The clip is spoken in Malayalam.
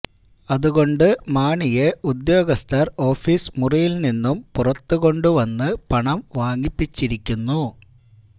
അതുകൊണ്ട് മാണിയെ ഉദ്യോഗസ്ഥർ ഓഫീസ് മുറിയിൽ നിന്നും പുറത്തുകൊണ്ട് വന്ന് പണം വാങ്ങിപ്പിച്ചിരിക്കുന്നു